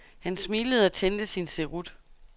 Han smilede og tændte sin cerut.